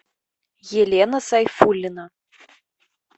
елена сайфуллина